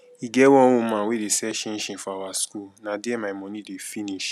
e get one woman wey dey sell chin chin for our school na there my money dey finish